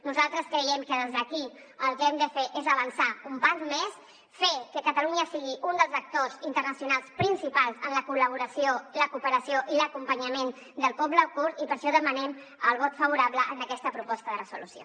nosaltres creiem que des d’aquí el que hem de fer és avançar un pas més fer que catalunya sigui un dels actors internacionals principals en la col·laboració la cooperació i l’acompanyament del poble kurd i per això demanem el vot favorable a aquesta proposta de resolució